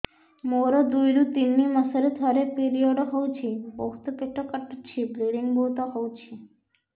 ମୋର ଦୁଇରୁ ତିନି ମାସରେ ଥରେ ପିରିଅଡ଼ ହଉଛି ବହୁତ ପେଟ କାଟୁଛି ବ୍ଲିଡ଼ିଙ୍ଗ ବହୁତ ହଉଛି